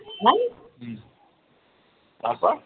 তারপর?